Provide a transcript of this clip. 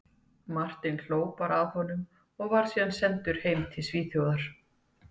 Martin bara hló að honum, og var síðan sendur heim til Svíþjóðar.